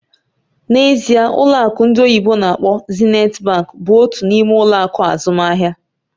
N'ezie!, ụlọ akụ ndị oyibo n'akpọ "Zenith Bank" bụ otu n'ime ụlọ akụ azụmaahịa